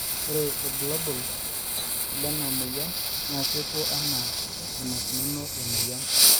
ore irbulabol lena moyian naa kepuo anaa enaikununo emoyian